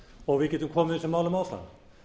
og við gætum komið þessum málum áfram